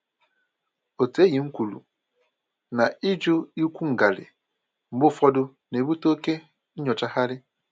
Otu enyí m kwuru na ịjụ ịkwụ ngarị mgbe ụfọdụ na-ebute oke nyochagharị